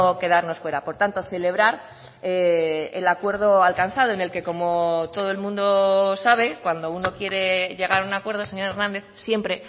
quedarnos fuera por tanto celebrar el acuerdo alcanzado en el que como todo el mundo sabe cuando uno quiere llegar a un acuerdo señor hernández siempre